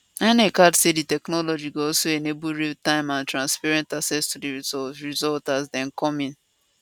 inec add say di technology go also enable realtime and transparent access to di result result as dem come in